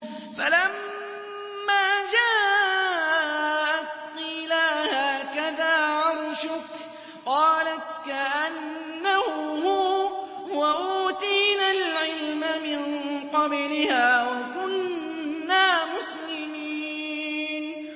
فَلَمَّا جَاءَتْ قِيلَ أَهَٰكَذَا عَرْشُكِ ۖ قَالَتْ كَأَنَّهُ هُوَ ۚ وَأُوتِينَا الْعِلْمَ مِن قَبْلِهَا وَكُنَّا مُسْلِمِينَ